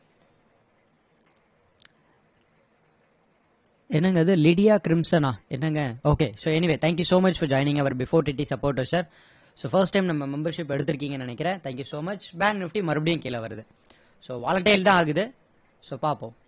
என்னங்க இது லிடியா கிரிம்சனா என்னங்க okay so anyway thank you so much for joining our before TT supporter sir so first time நம்ம membership எடுத்துருக்கீங்கன்னு நினைக்கிறேன் thank you so much bank nifty மறுபடியும் கீழ வருது so volatile தான் ஆகுது so பாப்போம்